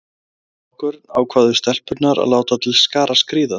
Dag nokkurn ákváðu stelpurnar að láta til skarar skríða.